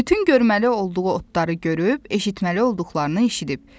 Bütün görməli olduğu otları görüb, eşitməli olduqlarını eşidib.